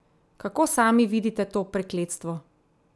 Kako sami vidite to prekletstvo?